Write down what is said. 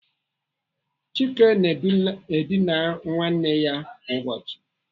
Chike na-edina nwanne ya kwa ụbọchị.